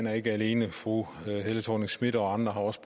er ikke alene for fru helle thorning schmidt og andre har også